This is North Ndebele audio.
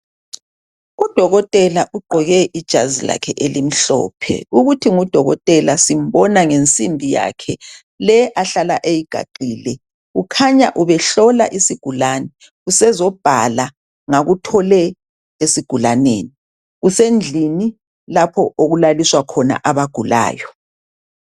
Udokotela ugqoke ijazilakhe elimhlophe, ukuthi ngudokotela simbona ngensimbi yakhe le ahlala ayigaxile. Ukhanya ubehlola isigulane usezobhala ngakuthole esigulaneni usendlini lapho okulaliswa khona abagulayo .